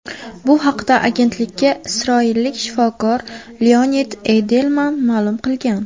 Bu haqda agentlikka isroillik shifokor Leonid Eydelman ma’lum qilgan.